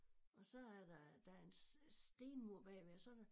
Og så er der der en stenmur bagved og så der